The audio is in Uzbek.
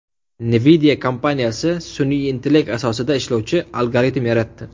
Nvidia kompaniyasi sun’iy intellekt asosida ishlovchi algoritm yaratdi.